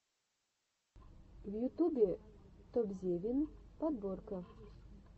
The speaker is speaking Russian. в ютубе топзевин подборка